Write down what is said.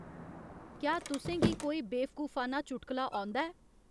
क्या तुसें गी कोई बेवकूफाना चुटकला औंदा ऐ